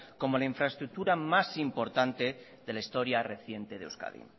como la infraestructura más importante de la historia reciente de euskadi